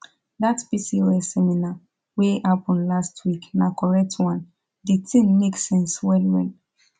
dat pcos seminar wey happen last week na correct one di thing make sense well well